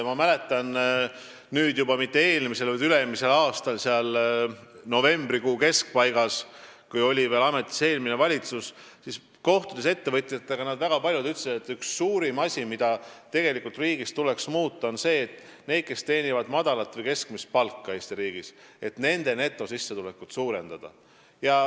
Ma mäletan, et nüüdseks juba üle-eelmisel aastal, umbes novembrikuu keskpaigas, kui ametis oli veel eelmine valitsus, ütlesid väga paljud ettevõtjad, et üks asi, mida tuleks Eesti riigis muuta, on see, et tuleb suurendada nende netosissetulekut, kes teenivad Eesti riigis madalat või keskmist palka.